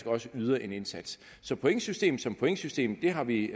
også yder en indsats så pointsystemet som pointsystem har vi